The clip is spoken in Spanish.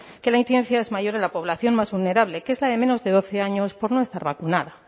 que la incidencia es mayor en la población más vulnerable que es la de menos de doce años por no estar vacunada